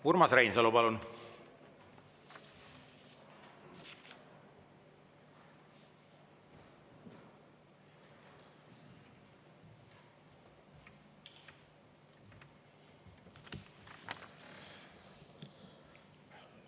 Urmas Reinsalu, palun!